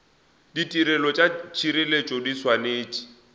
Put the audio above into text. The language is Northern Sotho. ditirelo tša tšhireletšo di swanetše